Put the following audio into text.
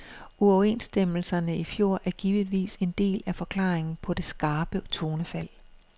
Uoverenstemmelserne i fjor er givetvis en del af forklaringen på det skarpe tonefald.